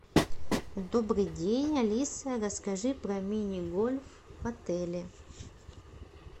добрый день алиса расскажи про мини гольф в отеле